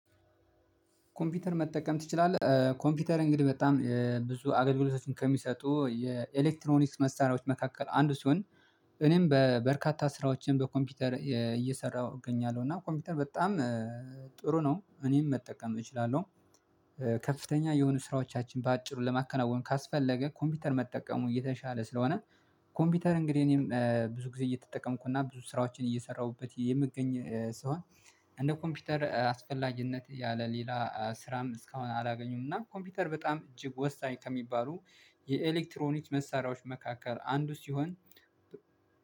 ኮምፒውተር መጠቀም ትችላለህ? ኮምፒውተር እንግዲህ በጣም ብዙ አገልግሎቶችን ከሚሰጡ የኤሌክትሮኒክስ መሳሪያዎች መካከል አንዱ ሲሆን። እኔም በበርካታ ስራዎችን በኮምፒውተር እየሰራሁ እገኛለሁ እና ኮምፒውተር በጣም ጥሩ ነው እኔም መጠቀም እችላለሁ። ከፍተኛ የሆኑ ስራዎቻችን በአጭሩ ለማከናወን ካስፈለገ ኮምፒውተር መጠቀሙ የተሻለ ስለሆነ ኮምፒውተር እንግዲህ እኔም ብዙ ጊዜ እየተጠቀምኩና ብዙ ስራዎችን እየሰራሁበት የምገኝ ሲሆን። እንደ ኮምፒውተር አስፈላጊነት ያለ ሌላ ስራም እስካሁን አላገኙም እና ኮምፒውተር በጣም እጅግ ወሳኝ ከሚባሉ የኤሌክትሮኒክስ መሳሪያዎች መካከል አንዱ ሲሆን